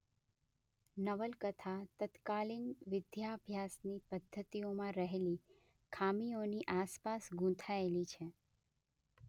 નવલકથા તત્કાલીન વિદ્યાભ્યાસની પદ્ધતિઓમાં રહેલી ખામીઓની આસપાસ ગૂંથાયેલી છે.